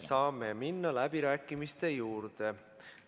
Saame minna läbirääkimiste juurde.